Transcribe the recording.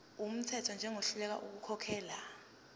wumthetho njengohluleka ukukhokhela